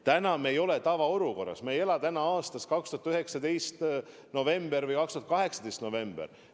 Täna me ei ole tavaolukorras, me ei ela aasta 2019 novembris või aasta 2018 novembris.